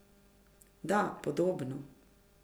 Da, podobno.